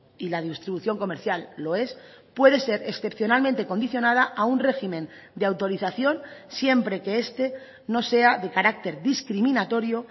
y la distribución comercial lo es puede ser excepcionalmente condicionada a un régimen de autorización siempre que este no sea de carácter discriminatorio